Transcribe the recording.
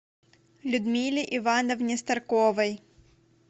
людмиле ивановне старковой